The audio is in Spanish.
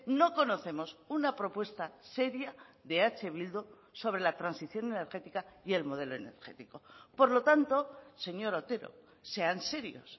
no conocemos una propuesta seria de eh bildu sobre la transición energética y el modelo energético por lo tanto señor otero sean serios